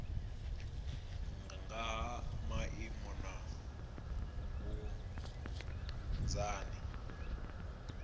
nga ha maimo na vhunzani